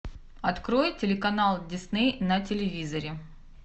открой телеканал дисней на телевизоре